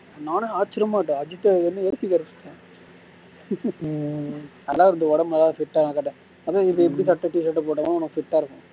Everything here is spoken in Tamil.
நானும் ஆச்சரியமாகிட்டேன் அஜித்தா இதுன்னு நல்லா இருந்தது ஒடம்பு நல்ல fit ஆ இருக்கட்டும் t-shirt போட்டா தான் உனக்கு fit ஆ இருக்கும்